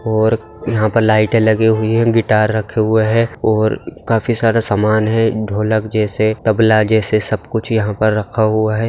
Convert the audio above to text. और यहाँ पर लाइटें लगी हुई है गिटार रखे हुए है और काफी सारा सामान है ढोलक जैसे तबला जैसे सब कुछ यहाँ पर रखा हुआ है।